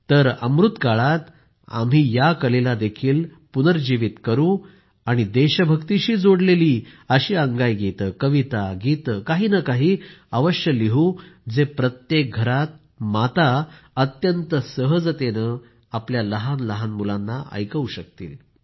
तर अमृतकाळात आम्ही या कलेलाही पुनर्जिवित करू आणि देशभक्तिशी जोडलेली अशी अंगाईगीतंकविता गीतं काही नं काही अवश्य लिहू जे प्रत्येक घरात माता अत्यंत सहजतेनं आपल्या लहान लहान मुलांना ऐकवू शकतील